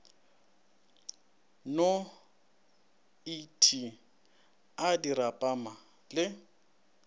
no et a dirapama le